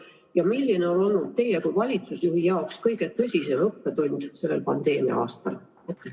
Ja milline on olnud teie kui valitsusjuhi jaoks kõige tõsisem õppetund sellel pandeemia-aastal?